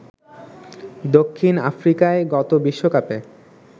দক্ষিণ আফ্রিকায় গত বিশ্বকাপে